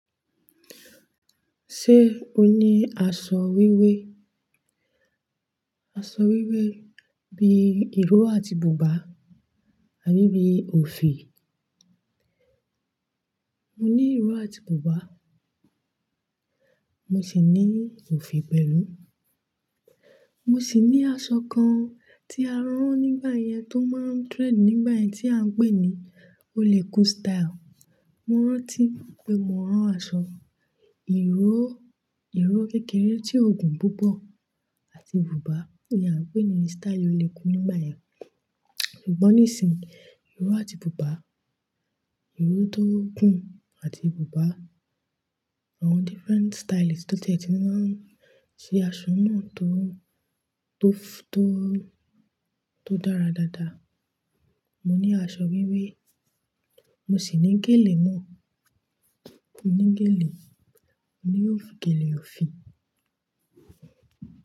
Ṣé o ní aṣọ wíwé? Aṣọ wíwé bíi ìró àti bùbá àbí bíi òfì. Mo ní ìró àti bùbá, mo sì ní òfì pẹ̀lú. Mo sì ní aṣọ kan tí a rán nígbà yẹn tó máa ń trend nígbà yẹn tí à ń pè ní oleku style. Mo rántí pé mo rán aṣọ ìró, ìró kékeré tí ó gùn púpọ̀ àti bùbá tí a ń pè ní style oleku nígbà yẹn. Ṣùgbọ́n nísìn, ìró àti bùbá, ìró tó gùn àti bùbá, àwọn different stylist tó tiẹ̀ti mà ń ṣe aṣọ náà tó, tó f- tó, tó dára dáadáa. Mo ní aṣọ wíwé, mo sì ní gèlè náà. Mo ní gèlè, mo ní òfì gèlè òfì.